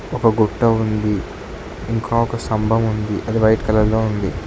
ఒక గుట్ట ఉంది ఇంక ఒక స్తంభం ఉంది అది వైట్ కలర్ లో ఉంది.